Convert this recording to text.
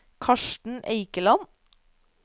Karsten Eikeland